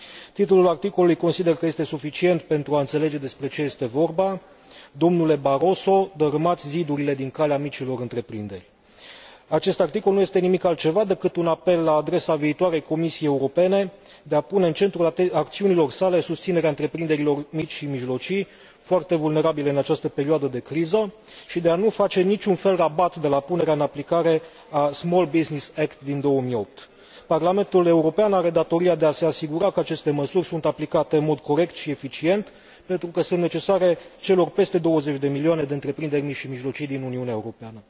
Titlul articolului consider că este suficient pentru a înțelege despre ce este vorba Domnule Barroso, dărâmați zidurile din calea micilor întreprinderi. Acest articol nu este nimic altceva decât un apel la adresa viitoarei Comisii Europene de a pune în centrul acțiunilor sale susținerea întreprinderilor mici și mijlocii, foarte vulnerabile în această perioadă de criză, și de a nu face în niciun fel rabat de la punerea în aplicare a Small Business Act din 2008. Parlamentul European are datoria de a se asigura că aceste măsuri sunt aplicate în mod corect și eficient, pentru că sunt necesare celor peste 20 de milioane de întreprinderi mici și mijlocii din Uniunea Europeană.